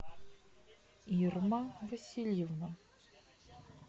ирма васильевна